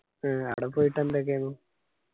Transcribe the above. ആ ആട പോയിട്ട് എന്തൊക്കെ ആന്ന്